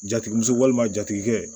Jatigi muso walima jatigikɛ